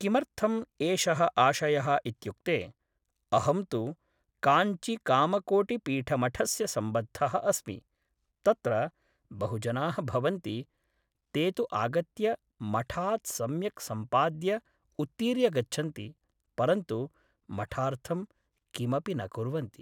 किमर्थम् एषः आशयः इत्युक्ते अहं तु काञ्जिकामकोटिपीठमठस्य सम्बद्धः अस्मि तत्र बहुजनाः भवन्ति ते तु आगत्य मठात् सम्यक् सम्पाद्य उत्तीर्य गच्छन्ति परन्तु मठार्थं किमपि न कुर्वन्ति